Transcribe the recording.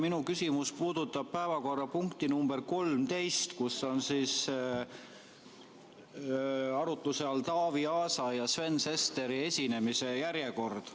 Minu küsimus puudutab päevakorrapunkti nr 13, millega seoses on arutuse all Taavi Aasa ja Sven Sesteri esinemise järjekord.